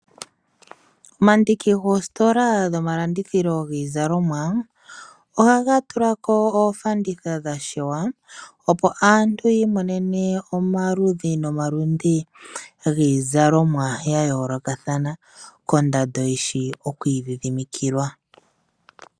Omandiki goositola dhomalandithilo giizalomwa, ohaga tulako oofanditha dha shewa, opo aantu yi imonene omaludhi nomaludhi giizalomwa ya yoolokathana kondando dhishi okwiidhidhimikilwa.